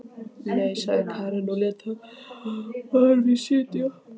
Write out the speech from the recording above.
Nei, sagði Karen og lét þar við sitja.